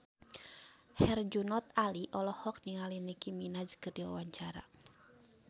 Herjunot Ali olohok ningali Nicky Minaj keur diwawancara